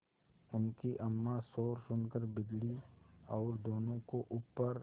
उनकी अम्मां शोर सुनकर बिगड़ी और दोनों को ऊपर